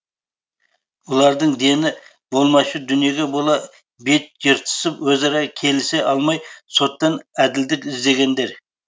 бұлардың дені болмашы дүниеге бола бет жыртысып өзара келісе алмай соттан әділдік іздегендер